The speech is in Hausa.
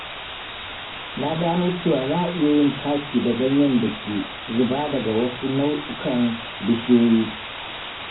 Na gano cewa za a iya yin taki da ganyen da ke zuba daga wasu nau'ikan bishiyoyi